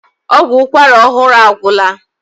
Ọgwụ ụkwara ọhụrụ agwụla.